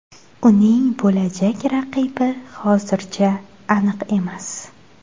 Uning bo‘lajak raqibi hozircha aniq emas.